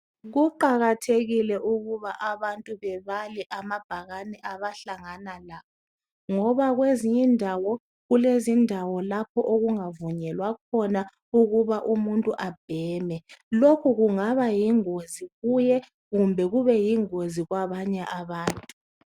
Kuqakathekile ukuthi abantu bebale amabhakani abahlangana nawo ngoba kwezinye indawo kulendawo lapho okungavunyelwa khona ukuba umuntu abheme lokhu kungaba yingozi kuye kumbe kube yingozi kwabanye abantu